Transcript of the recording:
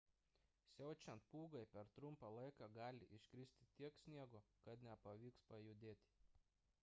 siaučiant pūgai per trumpą laiką gali iškristi tiek sniego kad nepavyks pajudėti